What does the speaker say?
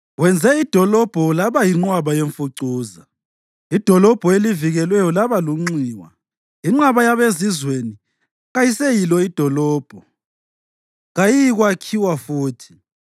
Wenze idolobho laba yinqwaba yemfucuza; idolobho elivikelweyo laba lunxiwa, inqaba yabezizweni kayiseyilo dolobho; kayiyikwakhiwa futhi.